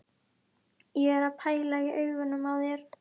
Ég er að pæla í augunum á þér.